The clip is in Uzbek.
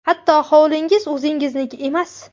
Hatto hovlingiz o‘zingizniki emas.